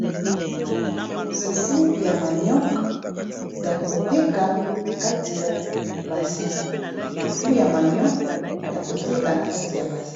Fufu ya manioc ya koteka na kati ya bassin.